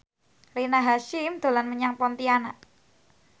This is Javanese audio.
Rina Hasyim dolan menyang Pontianak